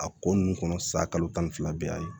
A ko ninnu kɔnɔ sa kalo tan ni fila be yan